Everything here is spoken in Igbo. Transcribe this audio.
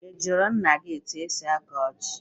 I jụrụ nna gị etu e si akọ ji?